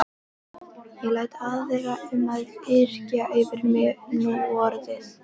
Ég læt aðra um að yrkja fyrir mig núorðið.